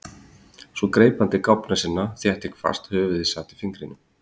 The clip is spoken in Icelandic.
Svo greip hann til gáfna sinna. þéttingsfast, höfuðið sat á fingrinum.